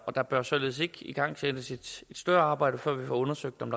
og der bør således ikke igangsættes et større arbejde før vi får undersøgt om